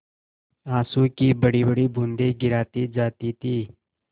आँसू की बड़ीबड़ी बूँदें गिराती जाती थी